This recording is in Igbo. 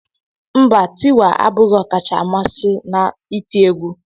Mba Tiwa abụghị ọkacha mmasị m na iti egwú.